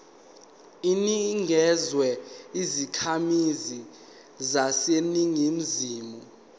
inikezwa izakhamizi zaseningizimu